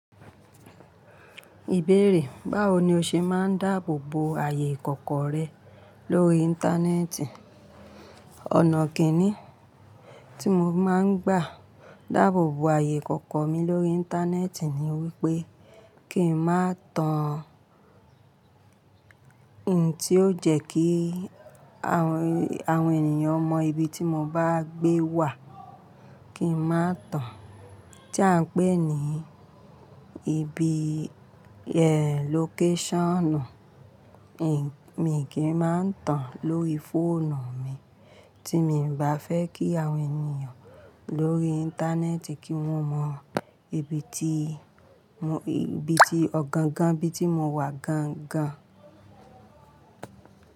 Ìbéèrè: báwo ni o ṣe máa ń dáàbò bo ààyè ìkọ̀kọ̀ rẹ lórí Íńtánẹ́ẹ̀tì? Ọ̀nà kíni tí mo máa ń gbà dáàbò bo ààyè ìkọ̀kọ̀ mi lórí Íńtánẹ́ẹ̀tì ni wípé kí n má tan ohun tí ó jẹ́ kí àwọn ènìyàn mọ ibi tí mo bá gbé wà kí n má tan tí a ń pè ní ibi location. Èmi kì í máa ń tan lórí fóònù mi tí mi ò bá fẹ́ kí àwọn ènìyàn lórí Íńtánẹ́ẹ̀tì kí wọ́n mọ ibi ti ibi tí ọ̀gangan ibi tí mo wà gan gan.